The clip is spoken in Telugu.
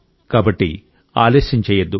కాబట్టి ఆలస్యం చేయొద్దు